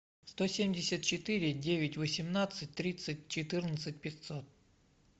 сто семьдесят четыре девять восемнадцать тридцать четырнадцать пятьсот